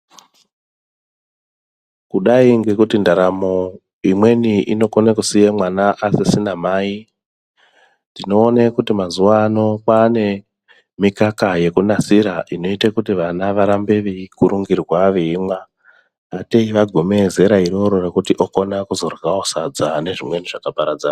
Kudayi ngekuti ndaramo imweni inokona kusiya mwana asisina mai, tinoona kuti mazuwaano kwane mikaka yekunasira inoyita kuti vana varambe veyi kurungirwa veyimwa, ateyi vagume zera iroro rekuti okona kuzoryawo sadza nezvimweni zvakaparadzana.